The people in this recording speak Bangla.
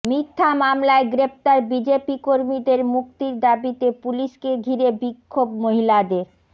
মিথ্যা মামলায় গ্রেফতার বিজেপি কর্মীদের মুক্তির দাবিতে পুলিশকে ঘিরে বিহ্মোভ মহিলাদের